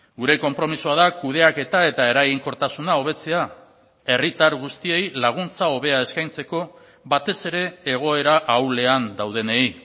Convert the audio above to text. gure konpromisoa da kudeaketa eta eraginkortasuna hobetzea herritar guztiei laguntza hobea eskaintzeko batez ere egoera ahulean daudenei